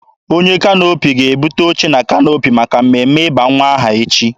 Onye kanoopi ga-ebute oche na kanoopi maka mmemme ịba nwa aha echi.